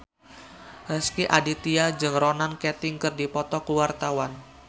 Rezky Aditya jeung Ronan Keating keur dipoto ku wartawan